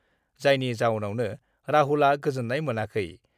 जायनि जाउनावनो राहुलआ गोजोन्नाय मोनाखै।